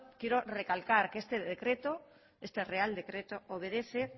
quiero recalcar que este real decreto obedece